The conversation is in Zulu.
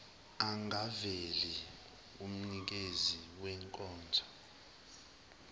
angaveli kumnikezi wenkonzo